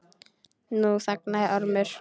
Nú þagnaði Ormur.